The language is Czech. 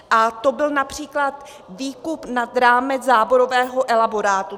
A to byl například výkup nad rámec záborového elaborátu.